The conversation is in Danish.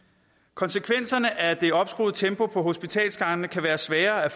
konsekvenserne af det opskruede tempo på hospitalsgangene kan være svære at